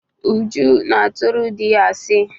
Uju na-atụrụ dị ya asị.